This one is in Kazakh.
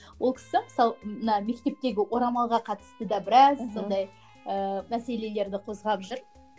ол кісі мысалы ы мына мектептегі орамалға қатысты да біраз сондай ііі мәселелерді қозғап жүр